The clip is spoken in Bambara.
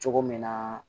Cogo min na